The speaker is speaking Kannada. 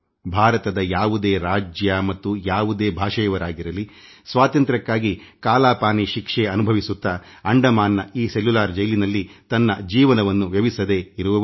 ಸ್ವಾತಂತ್ರ್ಯ ಸಂಗ್ರಾಮದ ಕಾಲದಲ್ಲಿ ಹೋರಾಟಗಾರರು ಭಾರತದ ಯಾವುದೇ ರಾಜ್ಯದವರಾಗಿರಲಿ ಅವರು ಕಾಲಾ ಪಾನಿ ಶಿಕ್ಷೆ ಅನುಭವಿಸುತ್ತಾ ಅಂಡಮಾನ್ನ ಈ ಸೆಲ್ಯುಲಾರ್ ಜೈಲಿನಲ್ಲಿ ತನ್ನ ಯೌವನ ಕಳೆಯಬೇಕಾಗಿತ್ತು